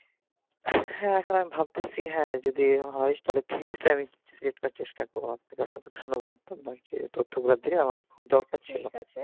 এখন ভাবতেছি যদি এমন হয় হ্যাঁ যদি হয় তাহলে physics টাকে slate করার চেষ্টা দিনে খুব দরকার ছিল